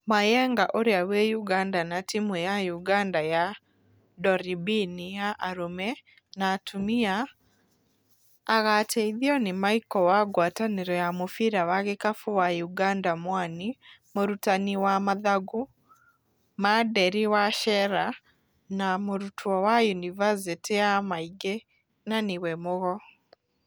Mayenga ũrĩa wĩ Ùganda na timũ ya Ùganda ya Ndoribini ya arũme na atũmia agateithio nĩ Maiko wa Ngwatanĩro ya mũbira wa gĩkabũ wa Ùganda Mwani, mũrutani wa Mathagu ma Nderi Wacera na mũrutwo wa Yunibasĩtĩ ya Maingĩ na nĩ we Mũgo.